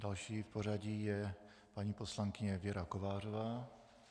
Další v pořadí je paní poslankyně Věra Kovářová.